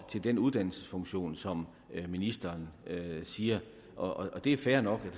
til den uddannelsesfunktion som ministeren siger og det er fair nok